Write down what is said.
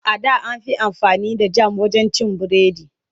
A da an fi amfani da jam wajen cin biredi.